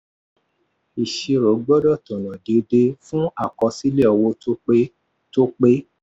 ìṣirò gbọ́dọ̀ tọ́nà déédé fún àkọsílẹ̀ owó tó pé. tó pé.